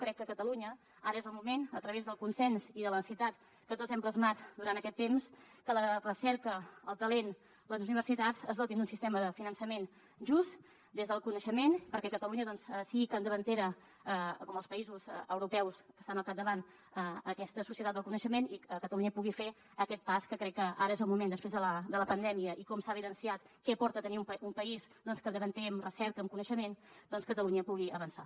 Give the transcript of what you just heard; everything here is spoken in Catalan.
crec que a catalunya ara és el moment a través del consens i de la necessitat que tots hem plasmat durant aquest temps que la recerca el talent les nostres universitats es dotin d’un sistema de finançament just des del coneixement perquè catalunya sigui capdavantera com els països europeus que estan al capdavant en aquesta societat del coneixement i catalunya pugui fer aquest pas que crec que ara és el moment després de la pandèmia i com s’ha evidenciat què aporta tenir un país capdavanter en recerca i en coneixement doncs catalunya pugui avançar